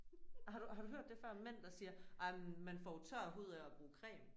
Har du har du hørt det før mænd der siger ej men man får jo tør hud af at bruge creme